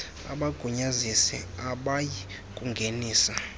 abagunyazisi abayi kungenisa